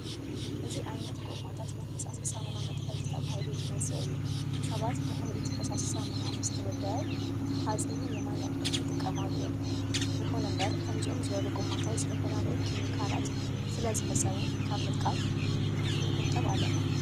እዚ ዓይነት ጎማታት ናይ ፈሳሲ ሳሙና መትሓዚ ተባሂሉ ዝመፅእ እዩ። ሰባት ድሕሪ እቲ ፈሳሲ ሳሙና ምስ ተወድኣ ተሓፂቡ ንማይ መቅድሒ ይጥቀሙሉ እዮም። ይኹን እምበር ከምዚኦም ዝበሉ ጎማታት ዝተፈላለዩ ኬሚካላት ስለዝህፀቡ ካብ ምጥቃም ክንቁጠብ ኣለና።